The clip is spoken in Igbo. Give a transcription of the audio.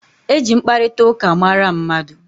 E ji mkparitauka mara mmadu